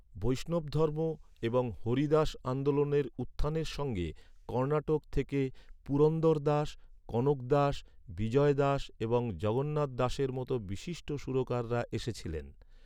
বৈষ্ণবধর্ম এবং হরিদাস আন্দোলনের উত্থানের সঙ্গে কর্ণাটক থেকে পুরন্দরদাস, কনকদাস, বিজয়দাস এবং জগন্নাথদাসের মতো বিশিষ্ট সুরকাররা এসেছিলেন।